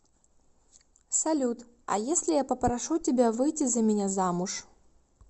салют а если я попрошу тебя выйти за меня замуж